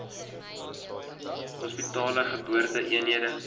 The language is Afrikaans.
hospitale geboorte eenhede